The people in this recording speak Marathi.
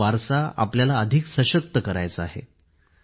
हा वारसा आपल्याला अधिक सशक्त करायचा आहे